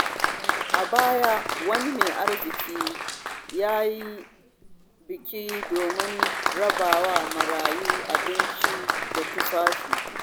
A baya, wani mai arziƙi ya yi biki don rabawa marayu abinci da tufafi.